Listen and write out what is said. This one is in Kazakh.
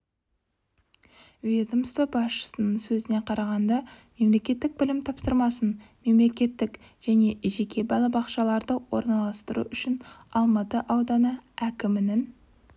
ведомство басшысының сөзіне қарағанда мемлекеттік білім тапсырысын мемлекеттік және жеке балабақшаларда орналастыру үшін алматы ауданы әкімінің